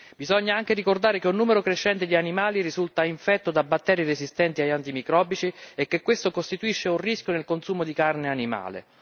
Bisogna anche ricordare che un numero crescente di animali risulta infetto da batteri resistenti agli antimicrobici e che questo costituisce un rischio nel consumo di carne animale.